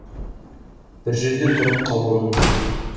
бір жерде тұрып қалуы мүмкін